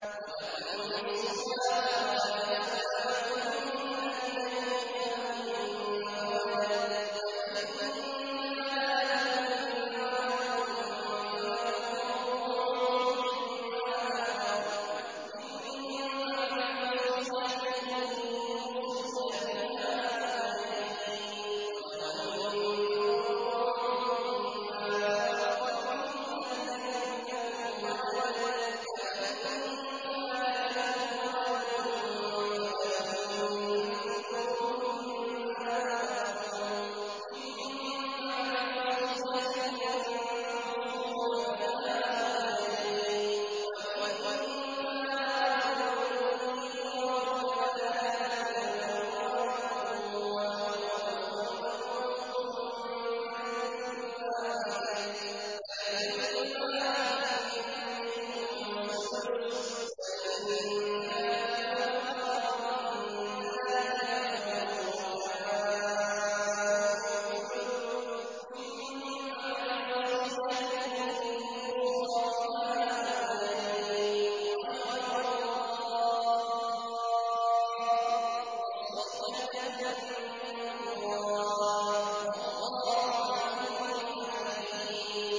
۞ وَلَكُمْ نِصْفُ مَا تَرَكَ أَزْوَاجُكُمْ إِن لَّمْ يَكُن لَّهُنَّ وَلَدٌ ۚ فَإِن كَانَ لَهُنَّ وَلَدٌ فَلَكُمُ الرُّبُعُ مِمَّا تَرَكْنَ ۚ مِن بَعْدِ وَصِيَّةٍ يُوصِينَ بِهَا أَوْ دَيْنٍ ۚ وَلَهُنَّ الرُّبُعُ مِمَّا تَرَكْتُمْ إِن لَّمْ يَكُن لَّكُمْ وَلَدٌ ۚ فَإِن كَانَ لَكُمْ وَلَدٌ فَلَهُنَّ الثُّمُنُ مِمَّا تَرَكْتُم ۚ مِّن بَعْدِ وَصِيَّةٍ تُوصُونَ بِهَا أَوْ دَيْنٍ ۗ وَإِن كَانَ رَجُلٌ يُورَثُ كَلَالَةً أَوِ امْرَأَةٌ وَلَهُ أَخٌ أَوْ أُخْتٌ فَلِكُلِّ وَاحِدٍ مِّنْهُمَا السُّدُسُ ۚ فَإِن كَانُوا أَكْثَرَ مِن ذَٰلِكَ فَهُمْ شُرَكَاءُ فِي الثُّلُثِ ۚ مِن بَعْدِ وَصِيَّةٍ يُوصَىٰ بِهَا أَوْ دَيْنٍ غَيْرَ مُضَارٍّ ۚ وَصِيَّةً مِّنَ اللَّهِ ۗ وَاللَّهُ عَلِيمٌ حَلِيمٌ